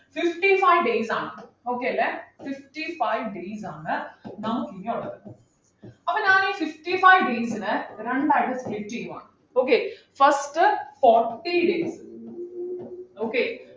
fifty five days ആണ് okay അല്ലെ fifty five days ആണ് നമുക്കിനി ഉള്ളത് അപ്പൊ ഞാനീ fifty five days നെ രണ്ടായിട്ടു split ചെയ്യുവാണ് okay first forty days okay